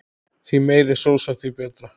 Því meiri sósa því betra.